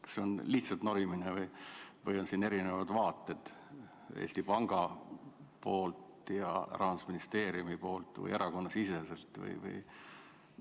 Kas see on lihtsalt norimine või on siin erinevad vaated Eesti Pangal ja Rahandusministeeriumil või erakonnasiseselt?